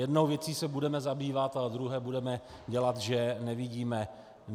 Jednou věcí se budeme zabývat a druhé budeme dělat, že nevidíme.